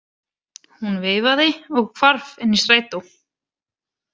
Hún veifaði og hvarf inn í strætó.